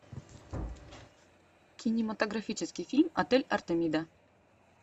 кинематографический фильм отель артемида